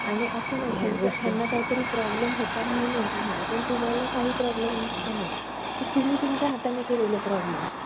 असं नाही यांना काहीतरी Problem होता म्हणून त्यांचा असं झालं पण तुम्हाला काही Problem नसताना तुम्ही तुमच्या हाताने केलेले Problem